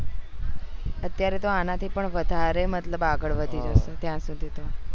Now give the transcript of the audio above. અત્યારે તો આના થી પણ વધારે મતલબ આગળ વધી જશે ત્યાં સુધી તો